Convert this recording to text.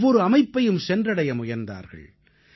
ஒவ்வொரு அமைப்பையும் சென்றடைய முனைந்தார்கள்